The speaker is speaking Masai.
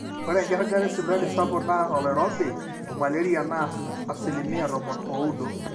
ore enkiragata esipitali sapuk naa oloirobi omalaria naa asilimia tomon ooudo